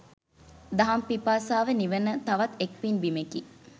දහම් පිපාසාව නිවන තවත් එක් පින් බිමෙකි.